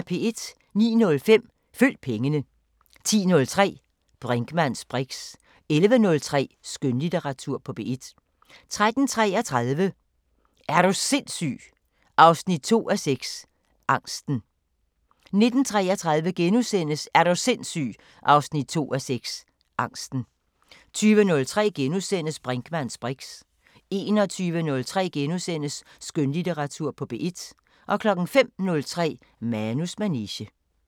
09:05: Følg pengene 10:03: Brinkmanns briks 11:03: Skønlitteratur på P1 13:33: Er du sindssyg 2:6 – Angsten 19:33: Er du sindssyg 2:6 – Angsten * 20:03: Brinkmanns briks * 21:03: Skønlitteratur på P1 * 05:03: Manus manege